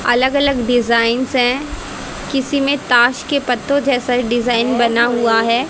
अलग अलग डिजाइन्स है किसी में ताश के पत्तों जैसा डिजाइन बना हुआ है।